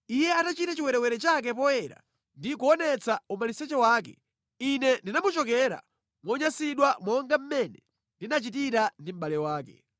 Iye atachita chiwerewere chake poyera ndi kuonetsa umaliseche wake, Ine ndinamuchokera monyansidwa monga mmene ndinachitira ndi mʼbale wake.